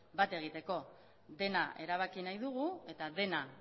bat egiteko dena erabaki nahi dugu eta dena